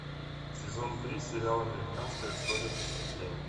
сезон три сериал американская история преступлений